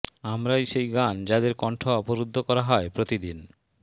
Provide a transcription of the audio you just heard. আমরাই সেই গান যাদের কণ্ঠ অবরুদ্ধ করা হয় প্রতিদিন